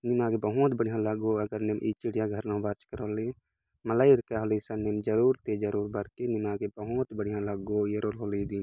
नीमागे बहुत बढ़िया लागो आगर निम ई चिड़िया घर बाचका रली मल्ला ईरका हले संगी ईसन ते जरुर ते ररुर बरके निमागे बहूत बढ़िया लग्गो एरोन हले दिन |